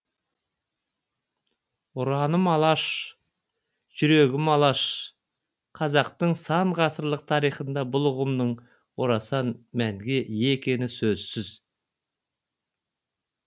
ұраным алаш жүрегім алаш қазақтың сан ғасырлық тарихында бұл ұғымның орасан мәнге ие екені сөзсіз